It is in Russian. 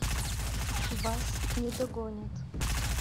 вас не догонят